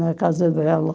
Na casa dela.